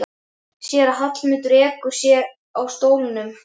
Sér að Hallmundur ekur sér í stólnum.